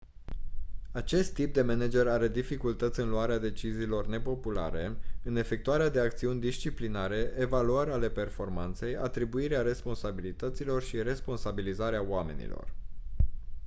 acest tip de manager are dificultăți în luarea deciziilor nepopulare în efectuarea de acțiuni disciplinare evaluări ale performanței atribuirea responsabilităților și responsabilizarea oamenilor